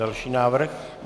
Další návrh.